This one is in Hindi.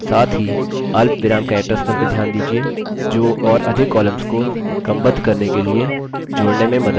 साथ ही अल्पविराम characters पर भी ध्यान दीजिये जो और क्रमबद्ध करने के लिए तथा अधिक columns को जोड़ने में मदद करता है